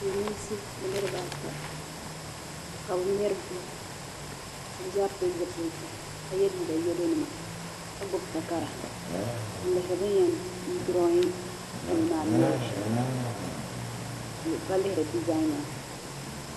Silimiinsi niriba ata ka bɛ mɛri duu ka bɛ zaa pili zipiliti ka ye liiga yelo nima ka gbibi takara n lihiri bini yen duroyi yili maa m mɛli shem ka lihiri dezan maa.